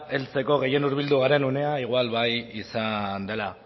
heltzeko gehien hurbildu garen unea igual bai izan dela